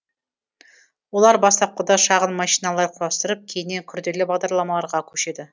олар бастапқыда шағын машиналар құрастырып кейіннен күрделі бағдарламаларға көшеді